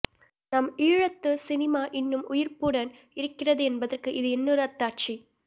நம் ஈழத்துச் சினிமா இன்னும் உயிர்ப்புடன் இருக்கிறது என்பதற்கு இது இன்னொரு அத்தாட்சி